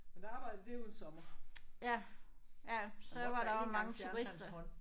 Men der arbejdede derude en sommer og der måtte jeg én gang fjerne hans hånd